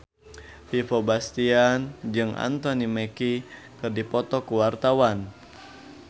Vino Bastian jeung Anthony Mackie keur dipoto ku wartawan